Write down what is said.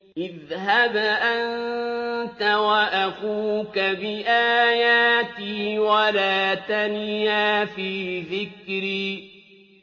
اذْهَبْ أَنتَ وَأَخُوكَ بِآيَاتِي وَلَا تَنِيَا فِي ذِكْرِي